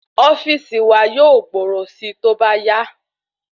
Ofíìsì wa yóò gbòòrò sí tóbá yá